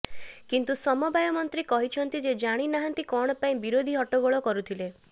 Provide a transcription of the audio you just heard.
କନ୍ତୁ ସମବାୟ ମନ୍ତ୍ରୀ କହିଛନ୍ତି ସେ ଜାଣି ନାହାନ୍ତି କଣ ପାଇଁ ବିରୋଧୀ ହଟ୍ଟଗୋଳ କରୁଥିଲେ